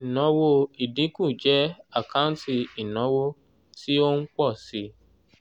ìnáwó ìdínkù jẹ́ àkáǹtì ìnáwó tí ó ń pọ̀ síi